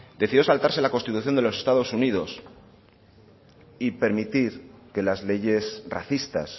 decidió saltarse la constitución de los estados unidos y permitir que las leyes racistas